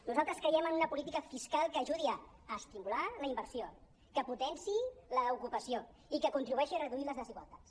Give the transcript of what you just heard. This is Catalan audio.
nosaltres creiem en una política fiscal que ajudi a estimular la inversió que potenciï l’ocupació i que contribueixi a reduir les desigualtats